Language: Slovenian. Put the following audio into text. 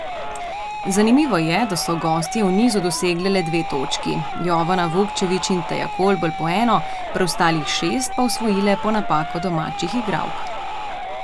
Zanimivo je, da so gostje v nizu dosegle le dve točki, Jovana Vukčević in Teja Kolbl po eno, preostalih šest pa osvojile po napakah domačih igralk.